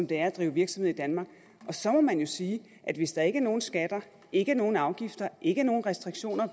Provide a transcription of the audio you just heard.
det at drive virksomhed i danmark og så må man jo sige at hvis der ikke er nogen skatter ikke er nogen afgifter ikke er nogen restriktioner